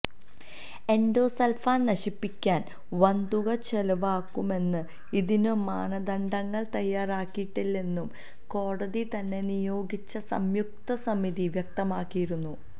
endosulfan നശിപ്പിക്കാന് വന്തുക ചെലവാകും എന്നും ഇതിന് മാനദണ്ഡങ്ങള് തയ്യാറാക്കിയിട്ടില്ലെന്നും കോടതിതന്നെ നിയോഗിച്ച സംയുക്ത സമിതി വ്യക്തമാക്കിയിരുന്നു